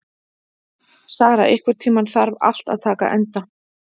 Sara, einhvern tímann þarf allt að taka enda.